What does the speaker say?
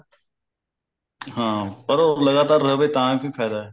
ਹਾਂ ਪਰ ਉਹ ਲਗਾਤਾਰ ਰਵੇ ਤਾਂ ਵੀ ਫਾਇਦਾ